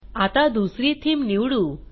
आता दुसरी थीम निवडू